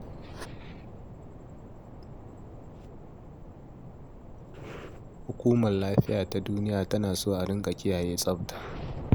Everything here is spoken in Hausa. Hukumar lafiya ta duniya tana so a dinga kiyaye tsafta.